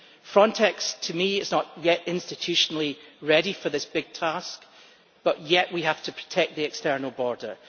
Frontex, to me, is not yet institutionally ready for this big task, but we still have to protect the external border.